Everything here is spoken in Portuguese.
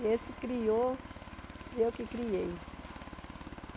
E esse criou, eu que criei.